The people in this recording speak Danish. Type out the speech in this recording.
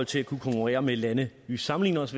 til at kunne konkurrere med lande vi sammenligner os